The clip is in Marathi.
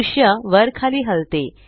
दृष्य वर खाली हलते